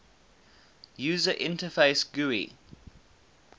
user interface gui